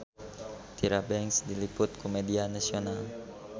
Tyra Banks diliput ku media nasional